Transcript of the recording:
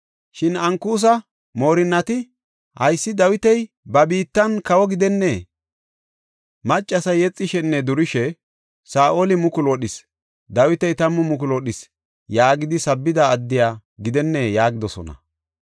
Shin Ankusa moorinnati, “Haysi Dawiti ba biittan kawo gidennee? Maccasay yexishenne durishe, ‘Saa7oli mukulu wodhis; Dawiti tammu mukulu wodhis’ yaagidi sabbida addiya gidennee?” yaagidosona.